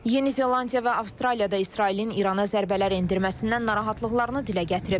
Yeni Zelandiya və Avstraliya da İsrailin İrana zərbələr endirməsindən narahatlıqlarını dilə gətirib.